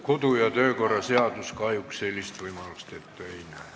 Kodu- ja töökorra seadus kahjuks sellist võimalust ette ei näe.